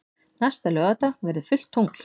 Næsta laugardag verður fullt tungl.